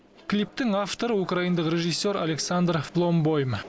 клиптің авторы украиндық режиссер александр фломбойм